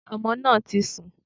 Sé ọmọ náà ti sùn?